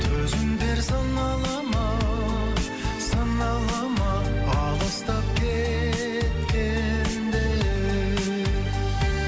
төзімдер сынала ма сынала ма алыстап кеткенде